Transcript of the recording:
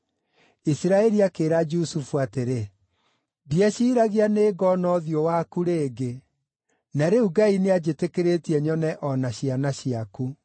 Isiraeli akĩĩra Jusufu atĩrĩ, “Ndieciragia nĩngona ũthiũ waku rĩngĩ, na rĩu Ngai nĩanjĩtĩkĩrĩtie nyone o na ciana ciaku.”